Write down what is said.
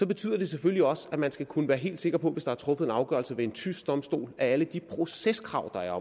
betyder det selvfølgelig også at man skal kunne være helt sikker på hvis der er truffet en afgørelse ved en tysk domstol at alle de proceskrav der er